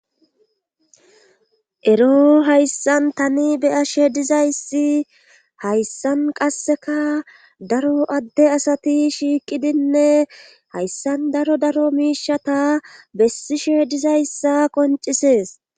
ero hayssan tani be'ashe dizayssi hayssan qasseka daro adde asati shiiqidinne hayssan daro daro miishata bessishe dizayssa qoncisees